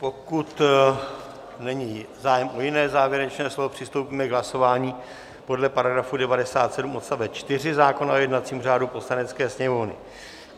Pokud není zájem o jiné závěrečné slovo, přistoupíme k hlasování podle § 97 odst. 4 zákona o jednacím řádu Poslanecké sněmovny.